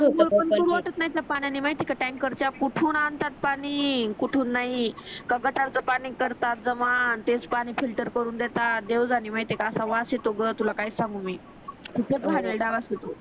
आग पण ते पूर्वतच नाही टँकर्सचं पाणी माहित आहे का टँकर चा कुठून आणतात पाणी कुठून नाही का गटारचा पाणी करतात जमा तेच पाणी फिल्टर करून देतात देऊ जाने माहित आहे का असा वास येतो ग तुला काय सांगू मी खूपच घानेळला वास येतो